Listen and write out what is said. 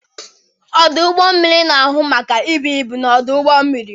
Ọdụ ụgbọ mmiri na-ahụ maka ibu ibu n'ọdụ ụgbọ mmiri.